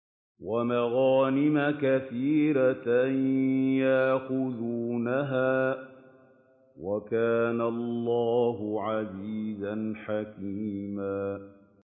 وَمَغَانِمَ كَثِيرَةً يَأْخُذُونَهَا ۗ وَكَانَ اللَّهُ عَزِيزًا حَكِيمًا